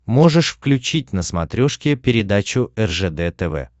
можешь включить на смотрешке передачу ржд тв